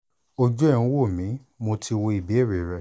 ojú ẹ̀ ń wò mí mo ti wo ìbéèrè rẹ